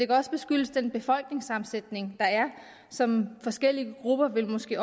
også skyldes den befolkningssammensætning der er og som forskellige grupper måske